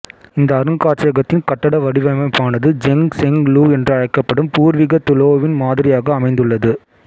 இந்த அருங்காட்சியகத்தின் கட்டட வடிவமைப்பானது ஜெங் செங் லூ என்று அழைக்கப்படும் பூர்வீக துலோவின் மாதிரியாக அமைந்துள்ளது